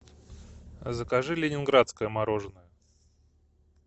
закажи ленинградское мороженое